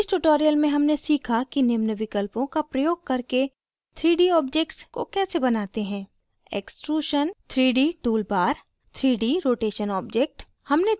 इस tutorial में हमने सीखा कि निम्न विकल्पों का प्रयोग करके 3d objects को कैसे बनाते हैं